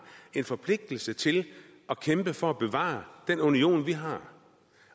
en forpligtelse til at kæmpe for at bevare den union vi har